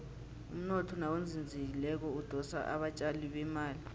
umnotho nawuzinzileko udosa abatjali bemali